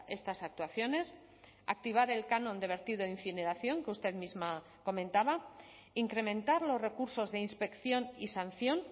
estas actuaciones activar el canon de vertido incineración que usted misma comentaba incrementar los recursos de inspección y sanción